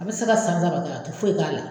A bɛ se ka san saba kɛ a tɛ foyi k'a la.